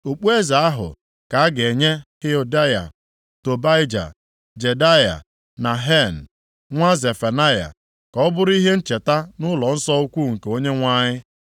Okpueze ahụ ka a ga-enye Heldaya, Tobaija, Jedaya na Hen, nwa Zefanaya, ka ọ bụrụ ihe ncheta nʼụlọnsọ ukwu nke Onyenwe anyị.